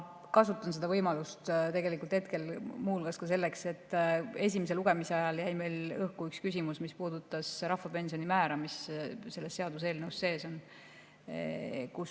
Kasutan võimalust muu hulgas selleks, et selgitada esimese lugemise ajal õhku jäänud küsimust, mis puudutas rahvapensioni määra, mis selles seaduseelnõus sees on.